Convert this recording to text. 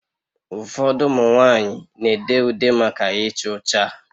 Ụfọdụ ụmụ nwanyị na-ede ude maka icha ucha